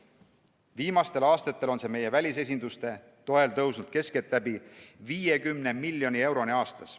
Viimastel aastatel on see meie välisesinduste toel tõusnud keskeltläbi 50 miljoni euroni aastas.